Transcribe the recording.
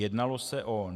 Jednalo se o: